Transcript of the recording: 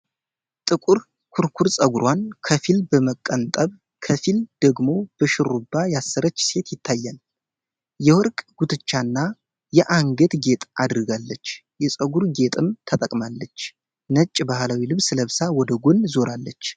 ጥቁር ኩርኩር ፀጉሯን ከፊል በመቀንጠብ፣ ከፊል ደግሞ በሽሩባ ያሠራች ሴት ይታያል። የወርቅ ጉትቻና የአንገት ጌጥ አድርጋለች፤ የፀጉር ጌጥም ተጠቅማለች። ነጭ ባህላዊ ልብስ ለብሳ ወደ ጎን ዞራለች።